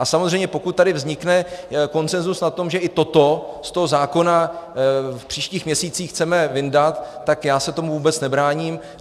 A samozřejmě pokud tady vznikne konsenzus na tom, že i toto z toho zákona v příštích měsících chceme vyndat, tak já se tomu vůbec nebráním.